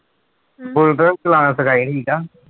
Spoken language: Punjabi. ਬੁਲਟ ਚਲਾਉਣਾ ਸਿਖਾਈ ਠੀਕ ਆ।